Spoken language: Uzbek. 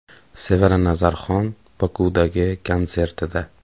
Sevara Nazarxon Bokudagi konsertida.